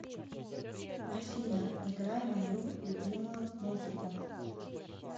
афина играй мою любимую музыку